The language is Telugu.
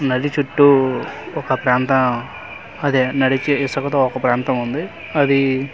నది చుట్టు ఒక ప్రాంతం అదే నడిచే ఇసుక తో ఒక ప్రాంతం ఉంది అదీ.